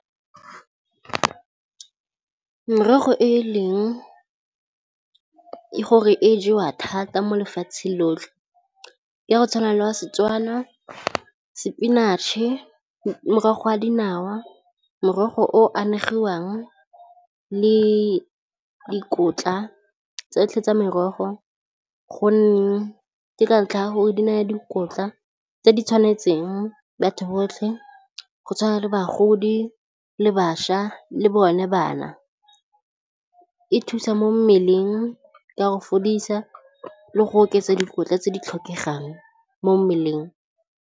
Merogo e leng gore e jewa thata mo lefatsheng lotlhe ke ya go tshwana le wa seTswana, spinach-e, morogo wa dinawa, morogo o anegiwang le dikotla tsotlhe tsa merogo gonne ke ka ntlha ya gore di naya dikotla tse di tshwanetseng batho botlhe go tshwana le bagodi le bašwa le bone bana, e thusa mo mmeleng ka go fodisa le go oketsa dikotla tse di tlhokegang mo mmeleng.